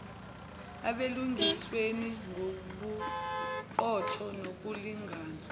ebulungisweni ngobuqotho nokulingana